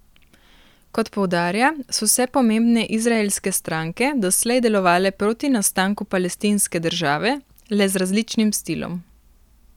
Kot poudarja, so vse pomembne izraelske stranke doslej delovale proti nastanku palestinske države, le z različnim stilom.